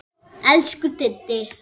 Elsku Diddi.